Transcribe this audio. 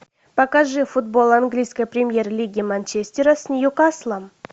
покажи футбол английской премьер лиги манчестера с ньюкаслом